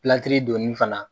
donni fana